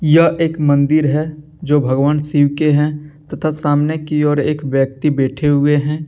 यह एक मंदिर है जो भगवान शिव के हैं तथा सामने की ओर एक व्यक्ति बैठे हुए हैं।